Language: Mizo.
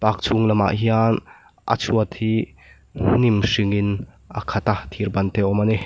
park chhung lamah hian a chhuat hi hnim hringin a khat a thir ban te awm ani.